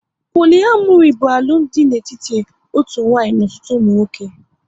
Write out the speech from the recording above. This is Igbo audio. Poliamori bụ alụmdi dị n'etiti otu nwanyị n'ọtụtụ ụmụ nwoke